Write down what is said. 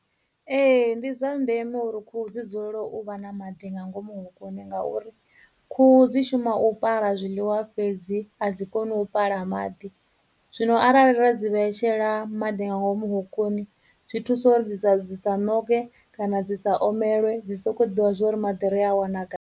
Ee, ndi zwa ndeme uri khuhu dzi dzulela u vha na maḓi nga ngomu hokoni ngauri khuhu dzi shuma u pala zwiḽiwa fhedzi a dzi koni u pala maḓi, zwino arali ra dzi vhetshela maḓi nga ngomu hokoni zwi thusa uri dzi sa dzi sa ṋoke, kana dzi sa omelwe, dzi soko ḓivha zwori maḓi ri a wana kha.